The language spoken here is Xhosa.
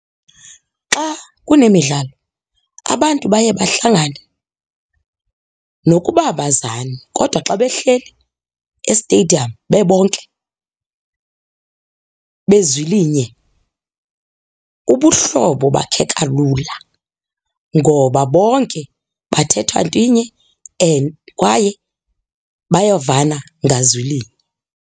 Xa kunemidlalo abantu baye bahlangane nokuba abazani kodwa xa behleli estediyamu bebonke bezwilinye ubuhlobo bakheka lula ngoba bonke bathetha ntwinye and kwaye bayavana ngazwilinye.